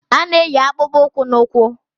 A na-eyi akpụkpọ ụkwụ na ụkwụ